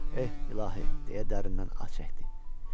Eh, İlahi, deyə dərindən ah çəkdi.